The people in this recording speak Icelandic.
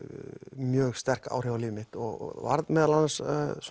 mjög sterk áhrif á líf mitt og varð meðal annars